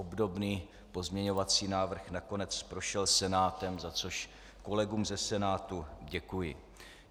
Obdobný pozměňovací návrh nakonec prošel Senátem, za což kolegům ze Senátu děkuji.